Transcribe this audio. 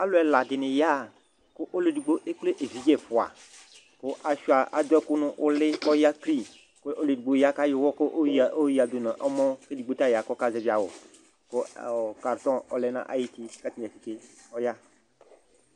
Alu ɛladini yaa ku ɔluedigbo ekple evidze ɛfua ku adu ɛku nu uli kɔya kli ɔlu edigbo di ya ku ayɔ uwɔ yoya du nu ɔmɔ kuedigbo ta ya kɔka zɛvi awu kartɔ ɔlɛ nayidu Karte didentite ɔya